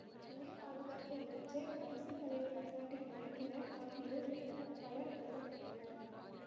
துணை பாதுகாப்பு அமைச்சர் அரசு தலைவர் அசாடின் மைத்துனர் ஆகியோர் உட்பட பலர் கொல்ல பட்டனர்